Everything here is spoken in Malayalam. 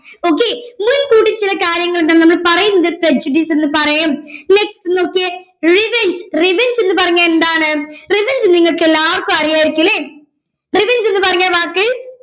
okay മുൻകൂട്ടി ചില കാര്യങ്ങൾ നമ്മൾ പറയുന്നത് prejudice എന്ന് പറയും next നോക്കിയേ revenge revenge എന്ന് പറഞ്ഞാ എന്താണ് revenge നിങ്ങൾക്ക് എല്ലാവർക്കും അറിയാരിക്കും അല്ലെ revenge എന്ന് പറഞ്ഞ വാക്ക്